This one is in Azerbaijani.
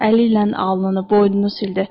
Əli ilə alnını, boynunu sildi.